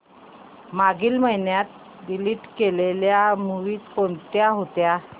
मागील महिन्यात डिलीट केलेल्या मूवीझ कोणत्या होत्या